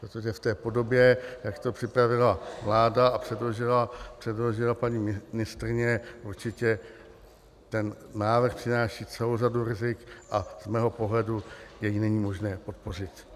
Protože v té podobě, jak to připravila vláda a předložila paní ministryně, určitě ten návrh přináší celou řadu rizik a z mého pohledu jej není možné podpořit.